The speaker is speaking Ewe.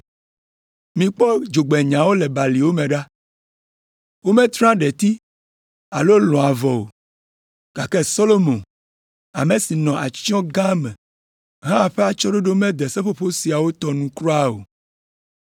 “Mikpɔ dzogbenyawo le baliwo me ɖa. Wometrea ɖeti alo lɔ̃a avɔ o, gake Solomo ame si nɔ atsyɔ̃ gã me hã ƒe atsyɔ̃ɖoɖo mede seƒoƒo siawo tɔ nu kura o.